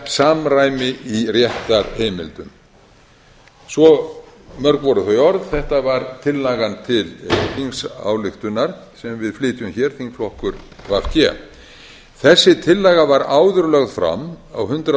samræmi í réttarheimildum svo mörg voru þau orð þetta var tillaga til þingsályktunar sem við flytjum hér þingflokkur v g þessi tillaga var áður lögð fram á hundrað